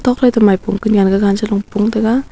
nokfai to maipung konyan gagan chalo pungtaga.